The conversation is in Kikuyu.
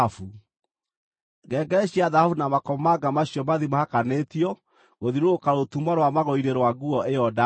Ngengere cia thahabu na makomamanga macio mathiĩ mahakanĩtio gũthiũrũrũka rũtumo rwa magũrũ-inĩ rwa nguo ĩyo ndaaya.